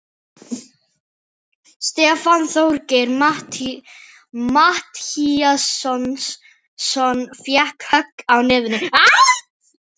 Stefán Þorgeir Matthíasson fékk högg á nefið.